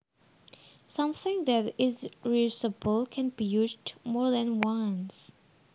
Something that is reusable can be used more than once